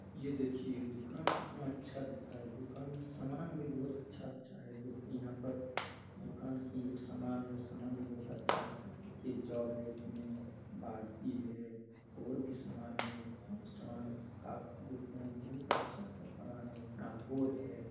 ये देखिए दुकान कितना अच्छा दिख रहा है। दुकान में सामान भी बहुत अच्छा-अच्छा है जोकि यहा पर दुकान की ये जो सामान है वो सामान बहुत अच्छा-अच्छा है। देखिए जग है इसमें बाल्टी है और भी सामान है जो सामान काफी देखने में बहोत अच्छा-अच्छा सामान है। बोर्ड है।